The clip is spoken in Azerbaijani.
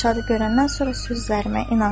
Dirşadı görəndən sonra sözlərimə inan.